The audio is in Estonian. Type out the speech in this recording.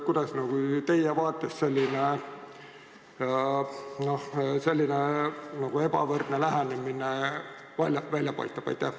Kuidas teie vaates selline ebavõrdne lähenemine välja paistab?